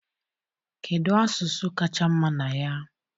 Kedu asụsụ kacha mma na ya?